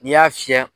N'i y'a fiyɛ